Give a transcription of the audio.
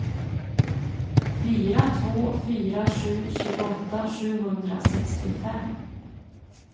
fyra två fyra sju tjugoåtta sjuhundrasextiofem